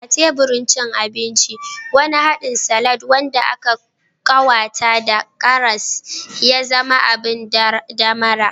A teburin cin abinci, wani haɗin salad wanda aka ƙawata da karas ya zama abin ɗamara.